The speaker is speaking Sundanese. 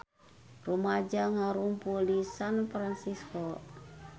Rumaja ngarumpul di San Fransisco